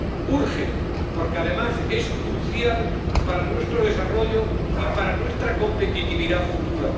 Urge porque, además, es crucial para nuestro desarrollo y para nuestra competitividad futura.